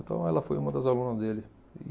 Então ela foi uma das alunas dele.